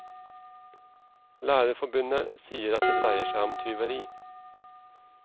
Lærerforbundet sier at det dreier seg om tyveri.